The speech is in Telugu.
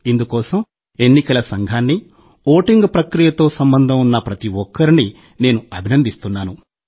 ఇందుకోసం ఎన్నికల సంఘాన్ని ఓటింగు ప్రక్రియతో సంబంధం ఉన్న ప్రతి ఒక్కరినీ నేను అభినందిస్తున్నాను